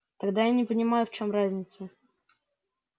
тогда я не понимаю в чём разница